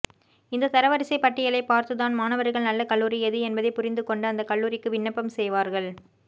இந்த தரவரிசை பட்டியலை பார்த்துதான் மாணவர்கள் நல்ல கல்லூரி எது என்பதை புரிந்து கொண்டு அந்த கல்லூரிக்கு விண்ணப்பம் செய்வார்கள்